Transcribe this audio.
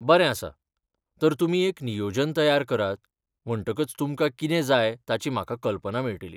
बरें आसा, तर तुमी एक नियोजन तयार करात म्हणटकच तुमकां कितें जाय ताची म्हाका कल्पना मेळटली.